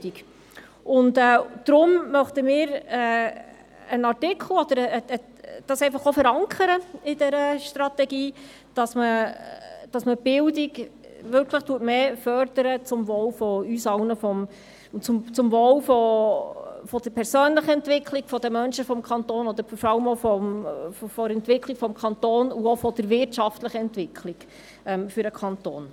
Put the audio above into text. Deshalb möchten wir in der Strategie verankern, dass man die Bildung zum Wohl von uns allen und zum Wohl der persönlichen Entwicklung der Menschen in unserem Kanton, aber auch zum Wohl der Entwicklung des gesamten Kantons, auch der wirtschaftlichen Entwicklung, stärker fördert.